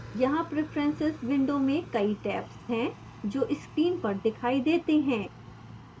यहाँ preferences window में कई tabs हैं जो screen पर दिखाई देते हैं